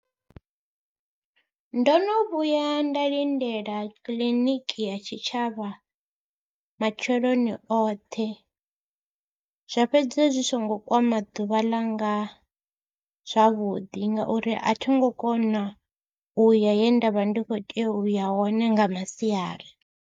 Ndo no vhuya nda lindela kiḽiniki ya tshitshavha matsheloni oṱhe, zwa fhedzisela zwi songo kwama ḓuvha ḽanga zwavhuḓi ngauri a thi ngo kona u ya he nda vha ndi khou tea u ya hone nga masiari.